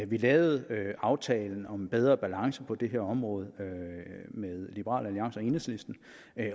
vi lavede aftalen om en bedre balance på det her område med liberal alliance og enhedslisten